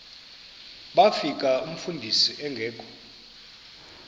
bafika umfundisi engekho